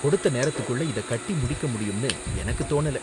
கொடுத்த நேரத்துக்குள்ள இத கட்டி முடிக்க முடியும்னு எனக்கு தோணல.